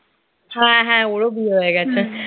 হ্যাঁ হ্যাঁ ওরো বিয়ে হয়ে গেছে